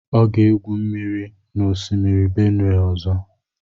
Ọ ga-egwu osimiri Benue ọzọ.